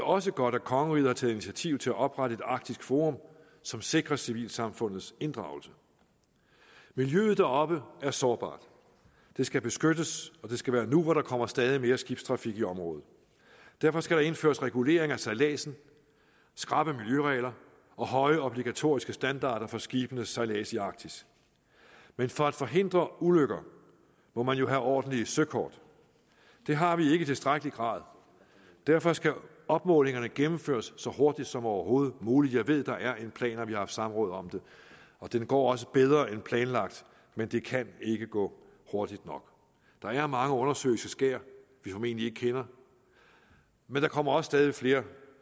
også godt at kongeriget har taget initiativ til at oprette et arktisk forum som sikrer civilsamfundets inddragelse miljøet deroppe er sårbart det skal beskyttes og det skal være nu hvor der kommer stadig mere skibstrafik i området derfor skal der indføres regulering af sejladsen skrappe miljøregler og høje obligatoriske standarder for skibenes sejlads i arktis men for at forhindre ulykker må man jo have ordentlige søkort det har vi ikke i tilstrækkelig grad derfor skal opmålingerne gennemføres så hurtigt som overhovedet muligt jeg ved at der er en plan og vi har haft samråd om det og det går også bedre end planlagt men det kan ikke gå hurtigt nok der er mange undersøiske skær vi formentlig ikke kender men der kommer også stadig flere